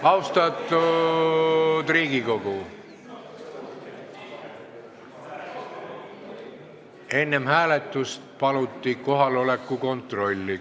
Austatud Riigikogu, enne hääletust paluti teha kohaloleku kontroll.